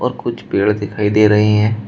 कुछ पेड़ दिखाई दे रही है।